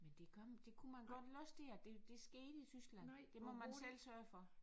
Men det gør det kunne man godt vel også der det det skete i Tyskland det må man selv sørge for